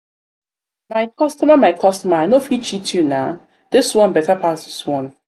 my customer my customer i no fit cheat you nah this one one better pass this one.